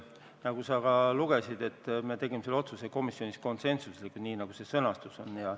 Nagu sa lugesid, tegime me selle otsuse komisjonis konsensuslikult, nii nagu see sõnastus on.